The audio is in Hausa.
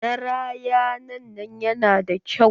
Naranayan nan yana da kyau.